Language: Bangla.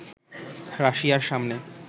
“রাশিয়ার সামনে